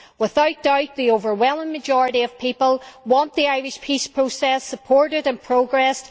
Without doubt the overwhelming majority of people want the Irish peace process supported and progressed.